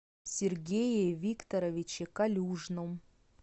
сергее викторовиче калюжном